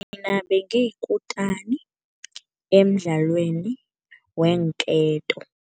Mina bengiyikutani emidlalweni weenketo.